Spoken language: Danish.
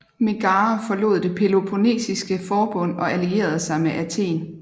Megara forlod det Peloponnesiske Forbund og allierede sig med Athen